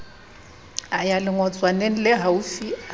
a ya lengotswaneng lehaufi a